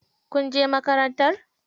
Kun je makarantar?